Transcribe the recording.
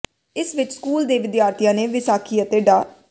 ਇਸ ਵਿੱਚ ਸਕੂਲ ਦੇ ਵਿਦਿਆਰਥੀਆਂ ਨੇ ਵਿਸਾਖੀ ਅਤੇ ਡਾ